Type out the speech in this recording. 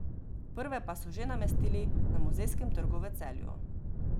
Prve pa so že namestili na Muzejskem trgu v Celju.